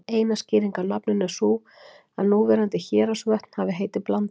Eina skýringin á nafninu er sú að núverandi Héraðsvötn hafi heitið Blanda.